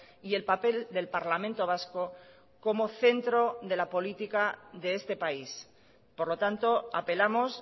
y el papel del parlamento vasco como centro de la política de este país por lo tanto apelamos